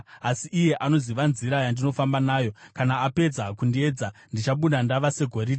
Asi iye anoziva nzira yandinofamba nayo; kana apedza kundiedza, ndichabuda ndava segoridhe.